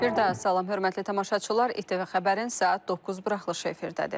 Birdaha salam hörmətli tamaşaçılar, İTV Xəbərin saat 9 buraxılışı efirdədir.